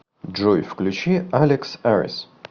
джой включи алекс арис